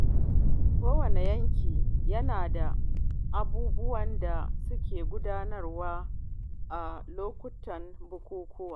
Kowane yanki yana da abubuwan da suke gudanarwa a lokutan bukukuwa.